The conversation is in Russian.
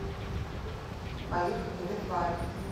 поехали ветлайф